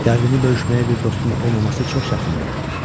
Dərdini bölüşməyə bir dostun olmaması çox çətindir.